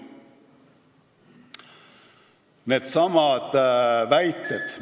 Needsamad väited ...